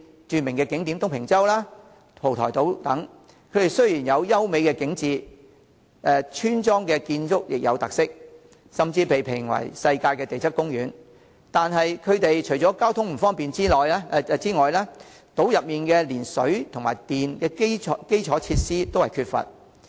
著名的景點東平洲、蒲台島等，雖然有優美的景致，村落建築有特色，甚至被評為世界地質公園，但除了交通不便，島內連水電等基礎設施都缺乏。